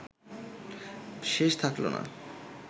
শেষ থাকল না